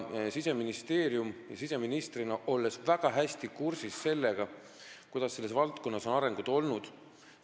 Siseministeerium ja mina siseministrina oleme väga hästi kursis sellega, millised on selle valdkonna arengud olnud.